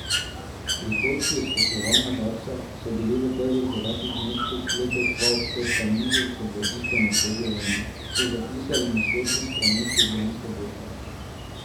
Prihodki iz poslovanja Darsa so bili v prvih devetih mesecih letos dva odstotka nižji kot v istem obdobju lani, so zapisali na spletnih straneh Ljubljanske borze.